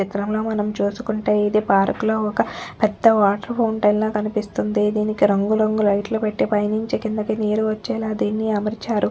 చిత్రంలో మనం చూసుకుంటే ఇది పార్క్ లొ ఒక్క పెద్ద వాటర్ ఫౌంటెన్ లా కనిపిస్తుంది దీనికి రంగురంగు లైట్ లు పెట్టి పైనుంచి కిందకి నీరు వచ్చేలా దీని అమర్చారు.